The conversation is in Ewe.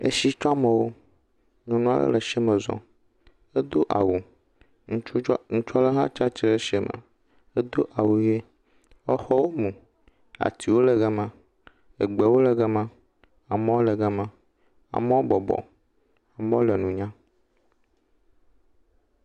Esitsɔmɔwo. Nunɔla le etsi me zɔm. edo awu. Ŋutsu ɖe ŋutsua ɖe ha tsiatre ɖe etsia me. Edo awu ʋi. Exɔwo mu, atiwo le ga ma, egbewo le ga ma. Amewo le ga ma. Amew bɔbɔ. Amewo le nu nyam.